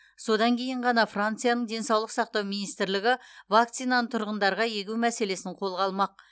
содан кейін ғана францияның денсаулық сақтау министрлігі вакцинаны тұрғындарға егу мәселесін қолға алмақ